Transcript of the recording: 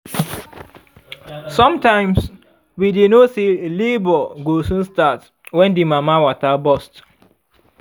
sometimes we dy know say labour go soon start when the mama water burst